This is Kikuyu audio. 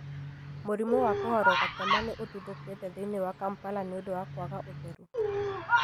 Mũrimũ wa kũharwo gatema nĩ ũtuthũkĩte thĩinĩ wa Kampala nĩ ũndũ wa kwaga ũtheru.